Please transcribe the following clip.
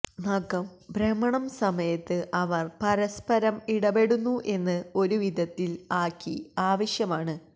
നഖം ഭ്രമണം സമയത്ത് അവർ പരസ്പരം ഇടപെടുന്നു എന്ന് ഒരു വിധത്തിൽ ആക്കി ആവശ്യമാണ്